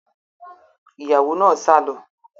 Ìyàwó náà sá lọ